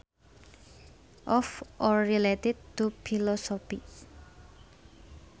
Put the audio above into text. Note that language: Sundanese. Of or related to philosophy